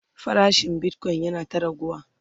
farashin Bitcoin yana ta raguwa